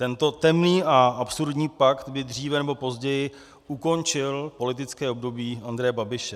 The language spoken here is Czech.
Tento temný a absurdní pakt by dříve nebo později ukončil politické období Andreje Babiše.